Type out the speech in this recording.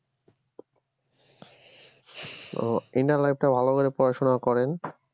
ও inter life টা ভালো করে পড়াশোনা করেন